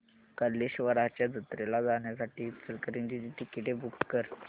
कल्लेश्वराच्या जत्रेला जाण्यासाठी इचलकरंजी ची तिकिटे बुक कर